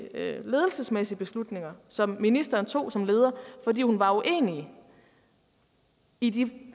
ledelsesmæssige beslutninger som ministeren tog som leder fordi hun var uenig i de